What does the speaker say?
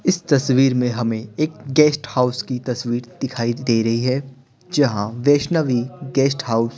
इस तस्वीर में हमें एक गेस्ट हाउस की तस्वीर दिखाई दे रही है जहां वैष्णवी गेस्ट हाउस --